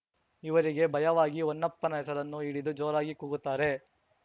ಇವರಿಗೆ ಭಯವಾಗಿ ಹೊನ್ನಪ್ಪನ ಹೆಸರನ್ನು ಹಿಡಿದು ಜೋರಾಗಿ ಕೂಗುತ್ತಾರೆ